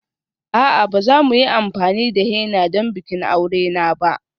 A'a, ba za mu yi amfani da henna don bikin aure na ba.